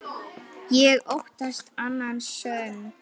Ég óttast annan söng.